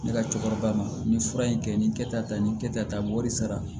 Ne ka cɛkɔrɔba ma nin fura in kɛ nin kɛta nin kɛta mɔ wari sara